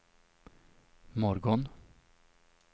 morgon